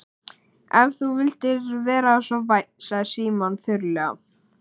Ef þú vildir vera svo vænn sagði Símon þurrlega.